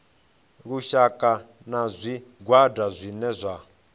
lushaka na zwigwada zwine zwa